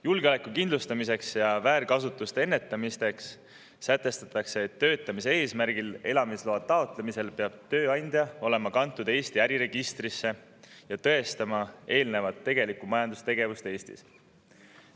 Julgeoleku kindlustamiseks ja väärkasutuste ennetamiseks sätestatakse, et töötamise eesmärgil elamisloa taotlemisel peab tööandja olema kantud Eesti äriregistrisse ja tõestama eelnevat tegelikku majandustegevust Eestis.